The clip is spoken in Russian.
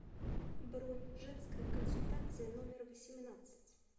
бронь женская консультация номер восемнадцать